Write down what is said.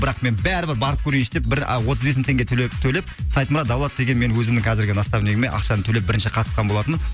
бірақ мен бәрі бір барып көрейінші деп бір а отыз бес мың тенге төлеп саидмурад давлатов деген мен өзімнің қазіргі наставнигіме ақшаны төлеп бірінші қатысқан болатынмын